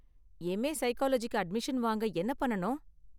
M. A. சைக்காலஜிக்கு admission வாங்க என்ன பண்ணனும்?